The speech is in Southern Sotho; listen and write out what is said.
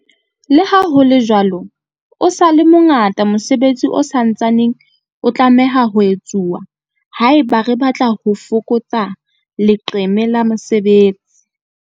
Leha ho le jwalo, o sa le mo ngata mosebetsi o sa ntsaneng o tlameha ho etsuwa haeba re batla ho fokotsa leqeme la mesebetsi.